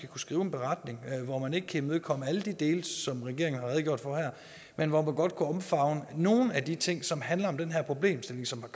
kunne skrive en beretning hvor man ikke kan imødekomme alle de dele som regeringen har redegjort for her men hvor man godt kunne omfavne nogle af de ting som handler om den her problemstilling som